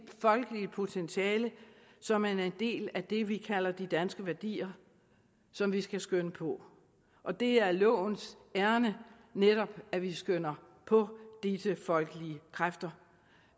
folkeligt potentiale som er en del af det vi kalder de danske værdier som vi skal skønne på og det er lovens ærinde netop at vi skønner på disse folkelige kræfter